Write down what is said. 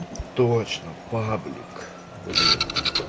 точно паблик блин